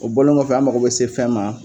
O bɔlen kɔfɛ an mako bɛ se fɛn ma